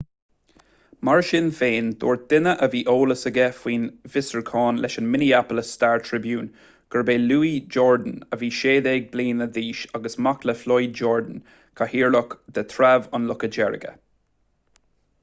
mar sin féin dúirt duine a bhí eolas aige faoin bhfiosrúchán leis an minneapolis star-tribune gurb é louis jourdain a bhí 16 bliana d'aois agus mac le floyd jourdain cathaoirleach de threabh an locha deirge